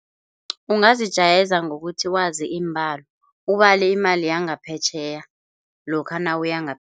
Ungazijayeza ngokuthi wazi iimbalo ubale imali yangaphetjheya lokha